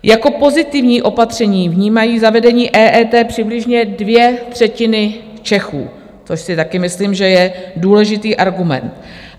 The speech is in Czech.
Jako pozitivní opatření vnímají zavedení EET přibližně dvě třetiny Čechů, což si také myslím, že je důležitý argument.